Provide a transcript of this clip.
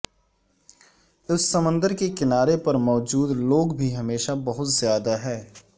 اس سمندر کے کنارے پر موجود لوگ بھی ہمیشہ بہت زیادہ ہے